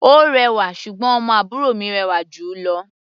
Ó rẹwà, ṣùgbọ́n ọmọ àbúrò mi rẹwà jù ú lọ.